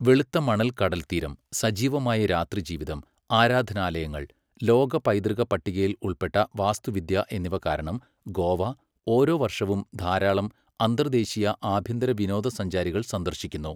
വെളുത്ത മണൽ കടൽതീരം, സജീവമായ രാത്രി ജീവിതം, ആരാധനാലയങ്ങൾ, ലോക പൈതൃക പട്ടികയിൽ ഉൾപ്പെട്ട വാസ്തുവിദ്യ എന്നിവ കാരണം ഗോവ ഓരോ വർഷവും ധാരാളം അന്തർദ്ദേശീയ, ആഭ്യന്തര വിനോദ സഞ്ചാരികൾ സന്ദർശിക്കുന്നു.